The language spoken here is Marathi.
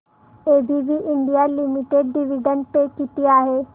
ABB India limited dividend pay किती आहे